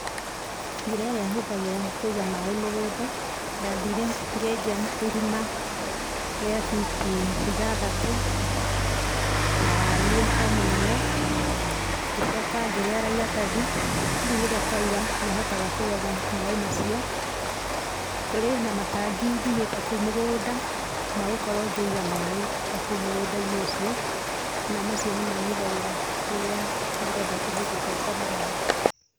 Njĩra ĩrĩa hũthagĩra ya kũiga maĩ mũgũnda ndathire ngĩenja irima rĩa biti ithathatu na wariĩ o mũnene ngĩcoka ngĩrĩara iratathi rĩu rĩrĩa kwoira nĩhotaga kũgetha maĩ macio, kũrĩ na matangi njigĩte o kũu mũgũnda magũkorwo ngĩiga maĩ, na macio nĩmo hũthagĩra rĩrĩa ndĩrenda kũhe indo ciakwa maĩ.